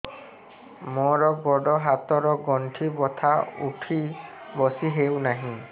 ମୋର ଗୋଡ଼ ହାତ ର ଗଣ୍ଠି ବଥା ଉଠି ବସି ହେଉନାହିଁ